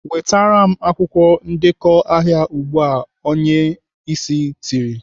"Wetere m akwụkwọ ndekọ ahịa ugbu a!" Onye Ịsị tiri.